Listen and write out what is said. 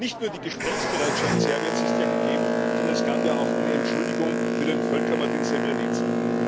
Nicht nur die Gesprächsbereitschaft Serbiens ist ja gegeben, sondern es gab ja auch eine Entschuldigung für den Völkermord in Srebrenica.